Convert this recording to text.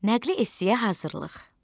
Nəqli essiyə hazırlıq.